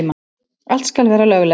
Allt skal vera löglegt.